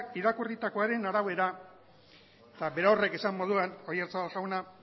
irakurritakoaren arabera eta berorrek esan moduan oyarzabal jauna